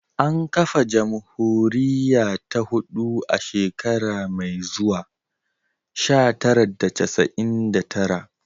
An kafa jamhuriya ta hudu a shekara mai zuwa, sha tara da casa'in da tara